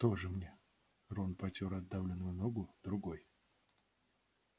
тоже мне рон потёр отдавленную ногу другой